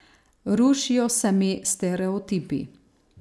Rušijo se mi stereotipi.